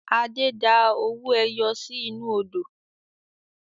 Adé da owó ẹyọ sì inú Odò